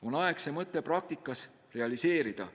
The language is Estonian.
On aeg see mõte praktikas realiseerida.